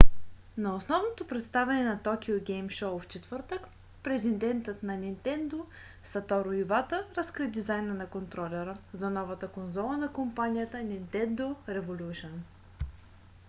на основното представяне на токио гейм шоу в четвъртък президентът на нинтендо сатору ивата разкри дизайна на контролера за новата конзола на компанията нинтендо революшън